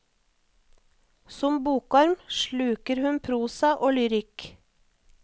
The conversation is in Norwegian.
Som bokorm sluker hun prosa og lyrikk.